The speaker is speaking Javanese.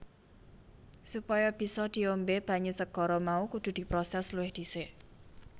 Supaya bisa diombé banyu segara mau kudu diprosès luwih dhisik